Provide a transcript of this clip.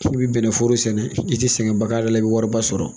K'i bi bɛnnɛforo sɛnɛ i tɛ sɛgɛnba k'a la i bi wariba sɔrɔ.